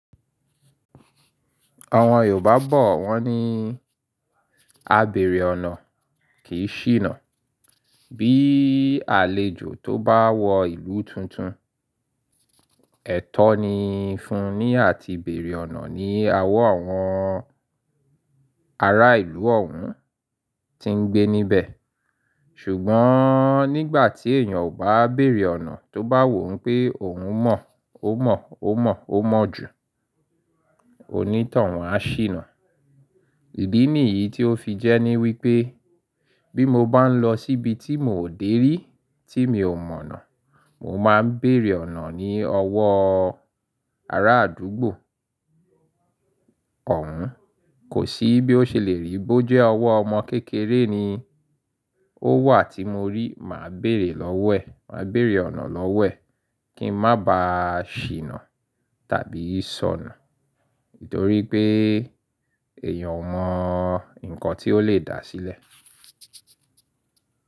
Àwọn Yorùbá bọ̀ wọ́n ní, "A bèrè ọ̀nà kìí ṣìnà." Bí àlejò tó bá wọ ìlú tuntun, ẹ̀tọ́ ni fún un ní àti bèrè ọ̀nà ní awo àwọn ará ìlú ọ̀ún tí ń gbé níbẹ̀. Ṣùgbọ́n nígbà tí èèyàn ò bá bèrè ọ̀nà tó bá wò n pé òun mọ̀, ó mọ̀, ó mọ̀, ó mọ̀ jù, òní towun á ṣìnà. Ìdí nìyí tí ó fi jẹ́ ní wípé bí mo bá ń lọ síbi tí miò dé rí, tí mi ò mọ̀nà, mo máa ń beèrè ọ̀nà ní ọwọ́ ará àdúgbò ọ̀hún. Kò sí bí ó ṣe lè rí bó jẹ́ ọwọ́ ọmọ kékeré ni ó wà tí mo rí, màá bèerè lọ́wo ẹ̀, màá beèrè ọ̀nà lọ́wo ẹ̀ kí n má ba ṣìnà tàbí sọnu ítorí pé èèyàn ò mọ̀ ǹkan tí ó lè dà sílẹ̀.